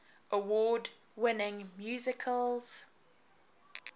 award winning musicals